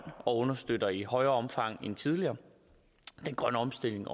og understøtter i større omfang end tidligere den grønne omstilling